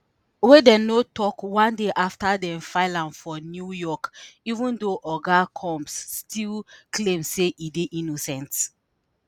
wey dem no tok one day afta dem file am for new york even though oga combs still claim say e dey innocent.